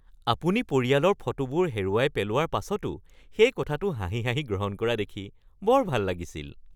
আপুনি পৰিয়ালৰ ফটোবোৰ হেৰুৱাই পেলোৱাৰ পাছতো সেই কথাটো হাঁহি হাঁহি গ্ৰহণ কৰা দেখি বৰ ভাল লাগিছিল।